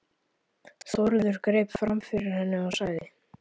Þórður greip fram fyrir henni og sagði